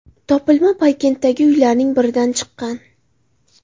Topilma Poykenddagi uylarning biridan chiqqan.